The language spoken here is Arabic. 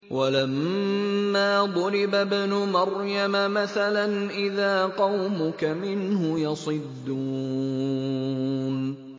۞ وَلَمَّا ضُرِبَ ابْنُ مَرْيَمَ مَثَلًا إِذَا قَوْمُكَ مِنْهُ يَصِدُّونَ